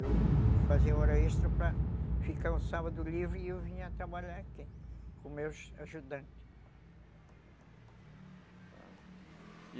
Eu fazia hora extra para ficar um sábado livre e eu vinha trabalhar aqui com meus ajudantes.